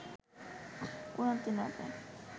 কোরআন তিলাওয়াতে